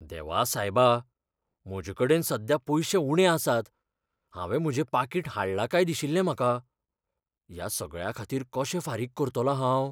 देवा सायबा! म्हजेकडेन सद्या पयशे उणे आसात, हांवें म्हजें पाकीट हाडलां काय दिशिल्लें म्हाका. ह्या सगळ्याखातीर कशें फारीक करतलों हांव?